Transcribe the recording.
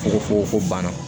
Fukofoko fonana